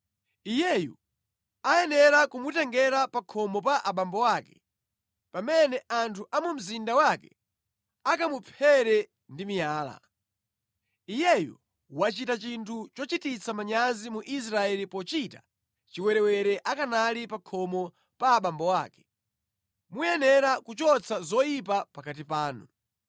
iyeyu ayenera kumutengera pa khomo pa abambo ake pamene anthu a mu mzinda wake akamuphere ndi miyala. Iyeyo wachita chinthu chochititsa manyazi mu Israeli pochita chiwerewere akanali pa khomo pa abambo ake. Muyenera kuchotsa zoyipa pakati panu.